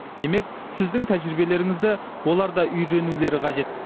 демек сіздің тәжірибелеріңізді олар да үйренулері қажет